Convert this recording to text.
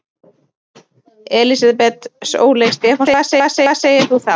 Elísabet Sóley Stefánsdóttir: Hvað segir þú þá?